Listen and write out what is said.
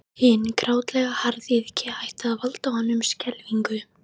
Hin grátlega harðýðgi hætti að valda honum skelfingu.